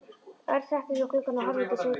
Örn settist við gluggann og horfði út í sveitina.